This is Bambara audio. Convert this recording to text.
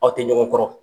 Aw tɛ ɲɔgɔn kɔrɔ